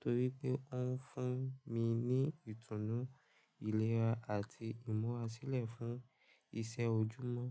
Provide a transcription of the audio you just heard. torí pé ó ń fún mi ní ìtùnú, ìlera àti ìmúra sílẹ̀ fún iṣẹ́ ojúmọ́.